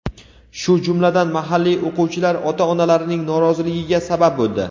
shu jumladan mahalliy o‘quvchilar ota-onalarining noroziligiga sabab bo‘ldi.